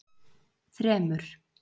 þremur